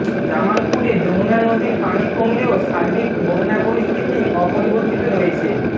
জামালপুরে যমুনা নদীর পানি কমলেও সার্বিক বন্যা পরিস্থিতি অপরিবর্তিত রয়েছে